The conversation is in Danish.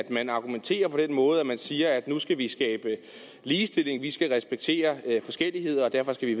man argumenterer på den måde at man siger at man nu skal skabe ligestilling respektere forskelligheder og derfor skal